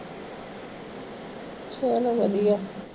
ਛੋ ਨੂੰ ਵਧੀਆ